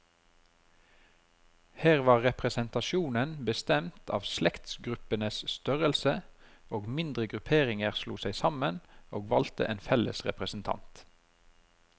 Her var representasjonen bestemt av slektsgruppenes størrelse, og mindre grupperinger slo seg sammen, og valgte en felles representant.